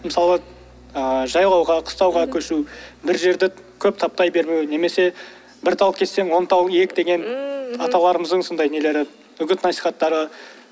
мысалы ыыы жайлауға қыстауға көшу бір жерді көп таптай бермеу немесе бір тал кессең он тал ек деген аталарымыздың сондай нелері үгіт насихаттары